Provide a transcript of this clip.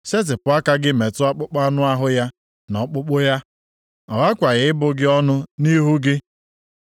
Setịpụ aka gị metụ akpụkpọ anụ ahụ ya na ọkpụkpụ ya, ọ ghakwaghị ị bụ gị ọnụ nʼihu gị.”